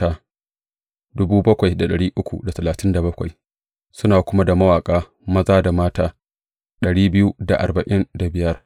Suna kuma da mawaƙa maza da mata dari biyu da arba'in da biyar.